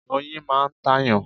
Oyin máa ń tàyàn.